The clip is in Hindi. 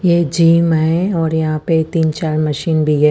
ये जिम है और यहाँ पे तिन चार मशीन भी है।